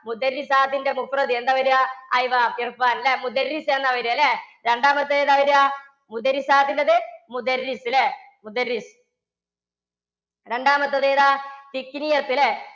ത്തിന്റെ എന്താ വരാ? ല്ലേ? എന്നാ വരാല്ലേ? രണ്ടാമത്തെ ഏതാ വരാ? ത്തിന്റേത് ല്ലേ? രണ്ടാമത്തതേതാ? ല്ലേ?